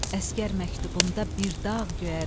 Əsgər məktubunda bir dağ göyərir.